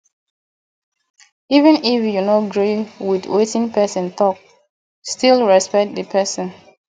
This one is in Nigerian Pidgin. even if you no gree with wetin person talk still respect the person